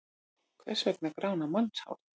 Hvers vegna grána mannshár?